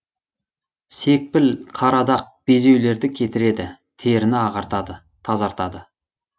секпіл қара дақ безеулерді кетіреді теріні ағартады тазартады